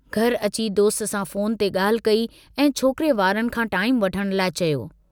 घर अची दोस्त सां फोन ते ॻाल्हि कई ऐं छोकिरे वारनि खां टाईमु वठण लाइ चयो।